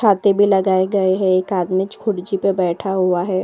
छाते भी लगाए गए हैं। एक आदमी कुर्सी पर बैठा हुआ है।